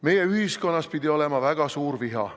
Meie ühiskonnas pidi olema väga suur viha.